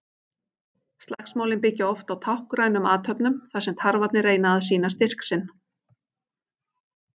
Slagsmálin byggja oft á táknrænum athöfnum þar sem tarfarnir reyna að sýna styrk sinn.